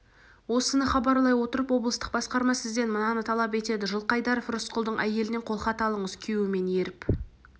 осыны хабарлай отырып облыстық басқарма сізден мынаны талап етеді жылқайдаров рысқұлдың әйелінен қолхат алыңыз күйеуімен еріп